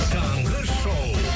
таңғы шоу